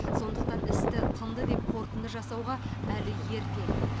сондықтан істі тынды деп қорытынды жасауға әлі ерте